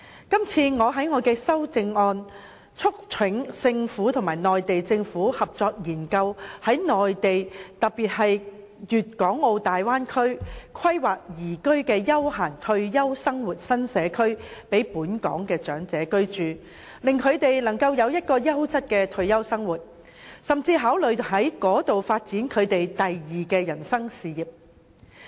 我在所提出的修正案中促請政府與內地政府合作研究在內地特別是粵港澳大灣區，規劃宜居的休閒退休生活新社區，以供本港的長者居住，令他們能夠擁有優質的退休生活，甚至考慮在那裏發展人生的第二事業。